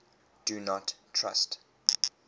do not trust